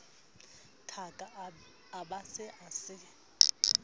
thaka a be a se